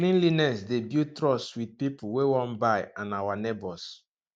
cleanliness dey build trust with people wey wan buy and our neighbors